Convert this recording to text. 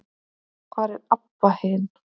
Hvar er Abba hin?